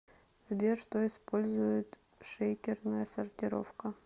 сбер что использует шейкерная сортировка